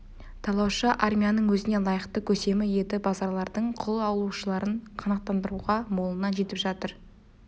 талаушы армияның өзіне лайықты көсемі еді базарлардың құл алушыларын қанағаттандыруға молынан жетіп жатыр